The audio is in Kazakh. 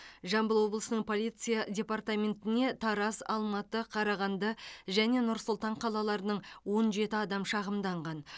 жамбыл облысының полиция департаментіне тараз алматы қарағанды және нұр сұлтан қалаларының он жеті адам шағымданған